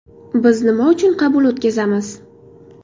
Biz nima uchun qabul o‘tkazamiz.